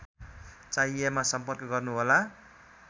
चाहिएमा सम्पर्क गर्नुहोला